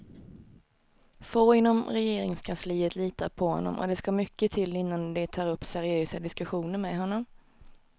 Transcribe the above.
Få inom regeringskansliet litar på honom och det ska mycket till innan de tar upp seriösa diskussioner med honom.